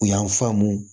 U y'an faamu